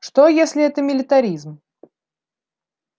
что если это милитаризм